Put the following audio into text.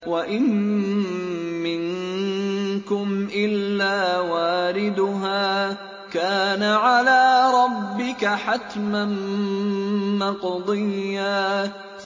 وَإِن مِّنكُمْ إِلَّا وَارِدُهَا ۚ كَانَ عَلَىٰ رَبِّكَ حَتْمًا مَّقْضِيًّا